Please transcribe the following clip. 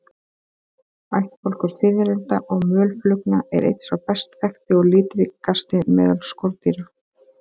Ættbálkur fiðrilda og mölflugna er einn sá best þekkti og litríkasti meðal skordýra.